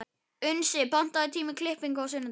Unnsi, pantaðu tíma í klippingu á sunnudaginn.